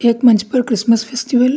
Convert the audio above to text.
एक मंच पर क्रिसमस फेस्टिवल --